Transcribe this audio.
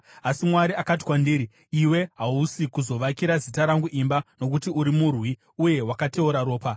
Asi Mwari akati kwandiri, ‘Iwe hausi kuzovakira Zita rangu imba, nokuti uri murwi uye wakateura ropa.’